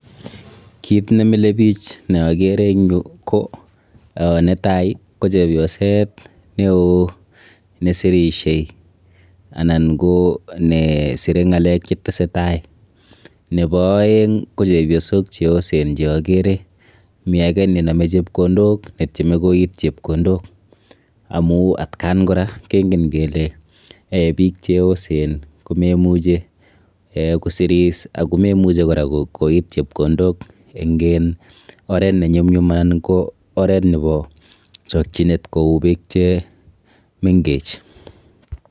Kit nemile bich neakere eng yu ko; ah netai ko chepyoset neo nesirishei anan ko nesire ng'alek chetesetai. Nepo aeng ko chepyosok cheosen cheakere. Mi ake nenome chepkondok netieme koit chepkondok amu atkan kora kenken kele biik cheosen komemuche kosiris ako memuche kora koit chepkondok eng oret nenyumyum anan ko oert nepo chokchinet kou biik chemenkech.